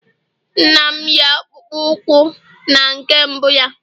nna m yi akpụkpọ ụkwụ na nke mbụ ya